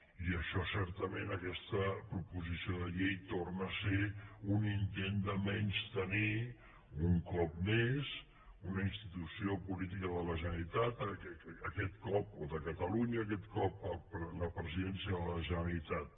i això certament aquesta proposició de llei torna a ser un intent de menystenir un cop més una institució política de la generalitat o de catalunya aquest cop la presidència de la generalitat